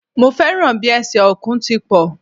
Mo fẹ́ràn bi ẹsẹ̀ Ọ̀kùn ti pọ̀